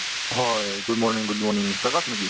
হয়, good morning good morning Prakash নেকি ?